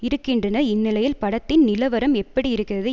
இருக்கின்றனர்இந்நிலையில் படத்தின் நிலவரம் எப்படியிருக்கிறது